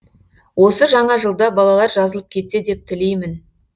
осы жаңа жылда балалар жазылып кетсе деп тілеймін